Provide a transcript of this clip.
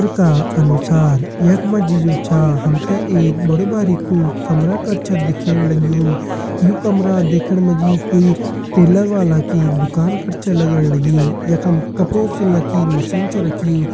चित्र का अनुसार यखमा जी जो छा हमते एक बडु-भारिकु कमरा कर छा दिख्येण लगयूं यु कमरा दिख्येण माजी कोई टेलर वाला की दुकान कर छै लगण लगीं यखम कपड़ों सिलना की मशीन छै रखीं।